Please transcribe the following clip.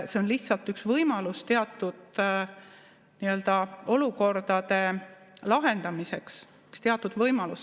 See on lihtsalt üks võimalus teatud olukordade lahendamiseks, üks teatud võimalus.